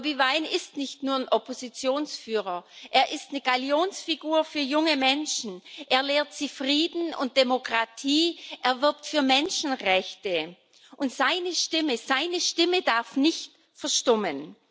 Bobi Wine ist nicht nur ein Oppositionsführer, er ist eine Gallionsfigur für junge Menschen, er lehrt sie Frieden und Demokratie, er wirbt für Menschenrechte, und seine Stimme darf nicht verstummen.